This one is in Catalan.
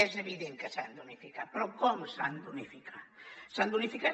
és evident que s’han d’unificar però com s’han d’unificar s’han d’unificar